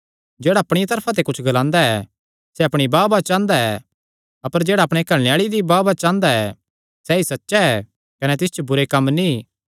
जेह्ड़ा अपणिया तरफा ते कुच्छ ग्लांदा ऐ सैह़ अपणी बाहबाह चांह़दा ऐ अपर जेह्ड़ा अपणे घल्लणे आल़े दी बाहबाह चांह़दा ऐ सैई सच्चा ऐ कने तिस च बुरे कम्म नीं